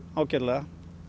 ágætlega